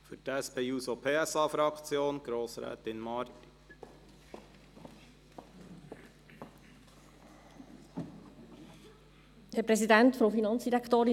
Für die SP-JUSO-PSA-Fraktion erteile ich Grossrätin Marti das Wort.